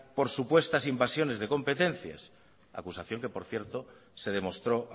por supuestas invasiones de competencias acusación que por cierto se demostró